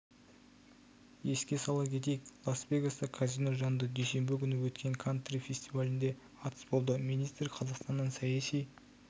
еске сала кетейік лас-вегаста казино жанында дүйсенбі күні өткен кантри фестивалінде атыс болды министр қазақстаннан саяси